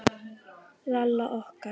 Lalla okkar.